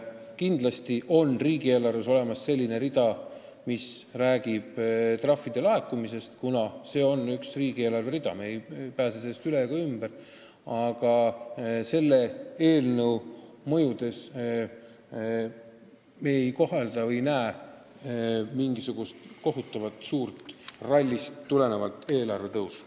Kindlasti on riigieelarves olemas rida, kus on laekuvad trahvid – me ei pääse sellest üle ega ümber –, aga selle eelnõu mõjuna me ei näe mingisugust kohutavalt suurt trahvirallist tulenevat eelarve kasvu.